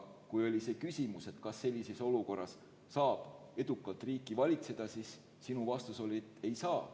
Kui oli küsimus, kas sellises olukorras saab edukalt riiki valitseda, siis sinu vastus oli, et ei saa.